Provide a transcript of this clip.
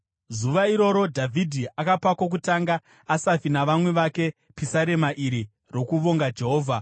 Zuva iroro Dhavhidhi akapa kwokutanga Asafi navamwe vake pisarema iri rokuvonga Jehovha: